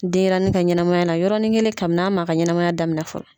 Denyɛrɛnin ka ɲɛnamaya la yɔrɔnin kelen kabin'a ma ka ɲɛnamaya damina fɔlɔ.